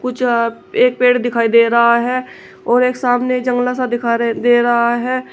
च एक पेड़ दिखाई दे रहा है और एक सामने जंगला सा दिखा रे दे रहा है।